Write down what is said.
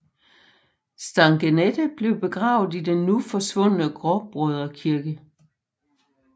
Stangenette blev begravet i den nu forsvundne Gråbrødre kirke